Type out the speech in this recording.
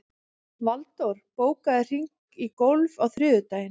Valdór, bókaðu hring í golf á þriðjudaginn.